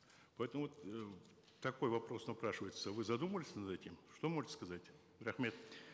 поэтому вот э такой вопрос напрашивается вы задумывались над этим что можете сказать рахмет